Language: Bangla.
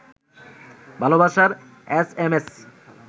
ভালবাসার এসএমএস